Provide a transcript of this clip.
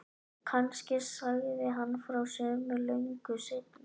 Kannski sagði hann frá sumu löngu seinna.